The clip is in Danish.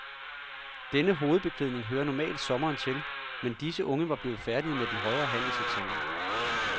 Denne hovedbeklædning hører normalt sommeren til, men disse unge var blevet færdige med den højere handelseksamen.